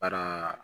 Baraa